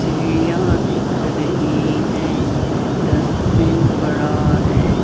चिड़िया दिख रही हैं डस्टबिन पड़ा है।